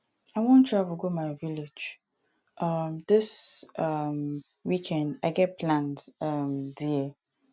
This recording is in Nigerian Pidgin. i wan travel go my village um dis um weekend i get plans um there